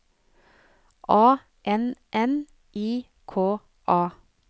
A N N I K A